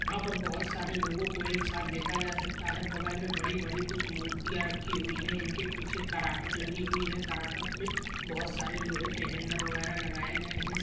यहा पर बहुत सारे लोगोंकों एक साथ देखा जा सकता है बगल मे बड़ी बड़ी कुछ मूर्तिया रखी हुई है इनहके पीछे कराकट लगी हुई है कराकट मे बहुत सारे लोहे के हॅण्डल वगैरा लगाए गए है।